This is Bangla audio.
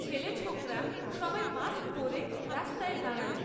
ছেলে ছোকরা সবাই মাস্ক পরে রাস্তায় দাঁড়াল।